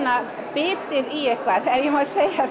bitið í eitthvað ef ég má segja